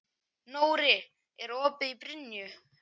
Nóri, er opið í Brynju?